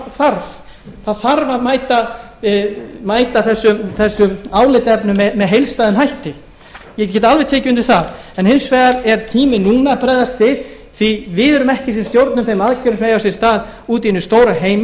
það þarf að mæta þessum álitaefnum með heildstæðum hætti ég get alveg tekið undir það en hins vegar er tíminn núna að bregðast við því við erum ekki að stjórna þeim aðgerðum sem eiga sér stað úti í hinum heimi það